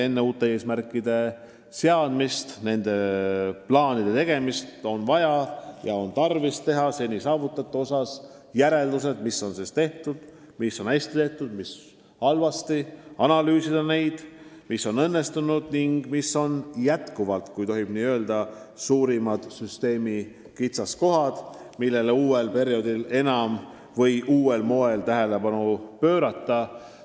Enne uute eesmärkide seadmist, uute plaanide tegemist on vaja seni saavutatu kokku võtta: mis on hästi tehtud, mis halvasti, analüüsida, mis on õnnestunud ja mis on endiselt, kui nii tohib öelda, süsteemi suurimad kitsaskohad, millele tuleb uuel perioodil enam või uuel moel tähelepanu pöörata.